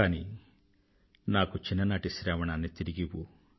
కానీ నాకు నా చిన్ననాటి శ్రావణాన్ని తిరిగివ్వు